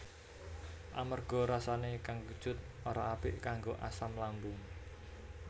Amarga rasané kang kecut ora apik kanggo asam lambung